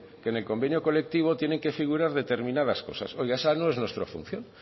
que en el convenio colectivo tienen que figurar determinadas cosas oiga esa no es nuestra función